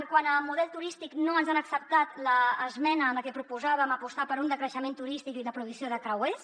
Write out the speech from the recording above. quant a model turístic no ens han acceptat l’esmena en la que proposàvem apostar per un decreixement turístic i la prohibició de creuers